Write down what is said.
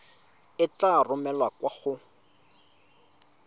e tla romelwa kwa go